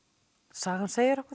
sagan segir okkur